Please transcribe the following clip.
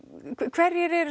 hverjir eru